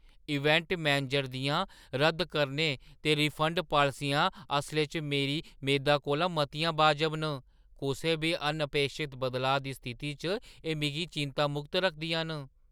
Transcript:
Event manager दियां रद्द करने ते रिफंड पालसियां असलै च मेरी मेदा कोला मतियां वाजब न। कुसै बी अनअपेक्षत बदलाऽ दी स्थिति च एह् मिगी चिंता मुक्त रखदियां न।